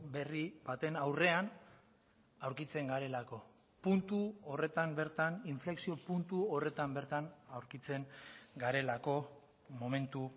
berri baten aurrean aurkitzen garelako puntu horretan bertan inflexio puntu horretan bertan aurkitzen garelako momentu